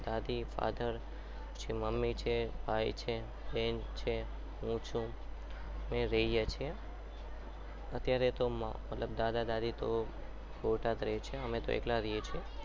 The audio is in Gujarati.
દાદી father પછી mummy છે ભાઈ છે બેન છે હું છું અમે રહીએ છીએ અત્યારે તો મતલબ દાદા દાદી તો બોટાદ રહે છે અમે તો એકલા રહીએ છીએ